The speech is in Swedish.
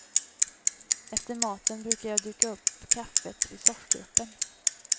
Efter maten brukar jag duka upp kaffet vid soffgruppen.